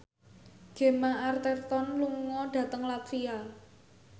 Gemma Arterton lunga dhateng latvia